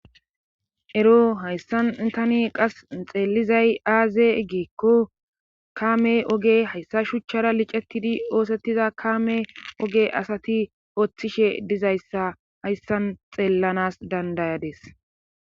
Ero hayssan qas tani xeelizay aaze giikko kaame oge hayssa shuchara licettidi oosettida kaame oge asati oothishe dizayssa hayssan xeellanaas danddayadis